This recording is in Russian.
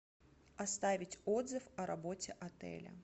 оставить отзыв о работе отеля